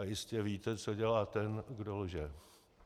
A jistě víte, co dělá ten, kdo lže.